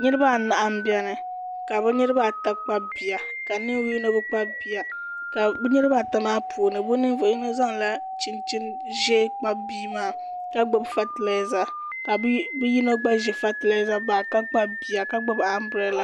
Niraba anahi n biɛni ka bi niraba ata kpabi bihi ka ninvuɣu yino bi kpabi bia ka bi niraba ata maa puuni bi ninvuɣu yino zaŋla chinchin ʒiɛ kpabi bia maa ka gbubi fatilɛza ka bia yino gba gbubi fatilɛza bag ka kpabi bia ka gbubi anbirɛla